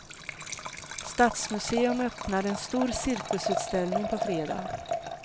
Stadsmuseum öppnar en stor cirkusutställning på fredag.